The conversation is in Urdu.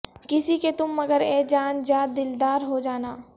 کسی کے تم مگر اے جان جاں دلدار ہو جانا